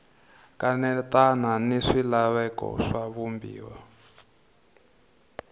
kanetana ni swilaveko swa vumbiwa